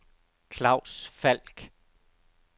Claus Falk